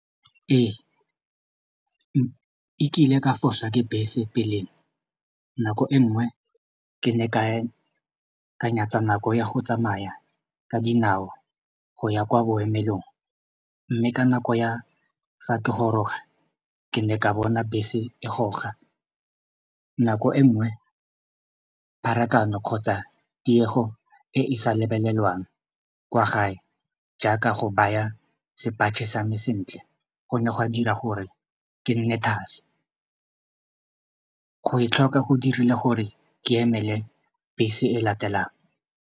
Ee, e kile ka fosa ke bese pele nako e nngwe ke ne ka nyatsa nako ya go tsamaya ka dinao go ya kwa boemelong mme ka nako ya fa ke goroga ke ne ka bona bese e goroga nako e nngwe pharakano kgotsa tiego e e sa lebelelwang kwa gae jaaka go baya sepatšhe sa me sentle go ne gwa dira gore ke nne thari go e tlhoka go dirile gore ke emele bese e e latelang.